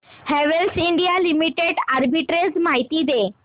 Havells India limited arbitrage माहिती दे